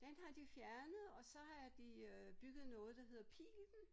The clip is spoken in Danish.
Den har de fjernet og så har de øh bygget noget der hedder Pilen